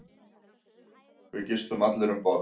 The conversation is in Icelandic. Við gistum allir um borð.